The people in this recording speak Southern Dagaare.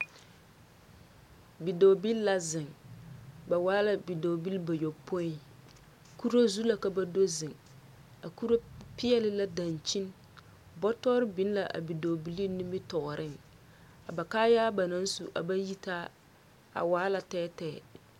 Bidɔɔbil la zeŋ, ba waa la Bidɔɔbil bayopoi. Kuro zu la ka ba do zeŋ. A Kuro peɛle la Dankyin. Bɔtɔr biŋ la a Bidɔɔbil nimitɔɔreŋ. A ba kaayaa ba naŋ su a ba yitaa, a waa la tɛɛtɛɛ.